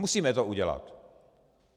Musíme to udělat.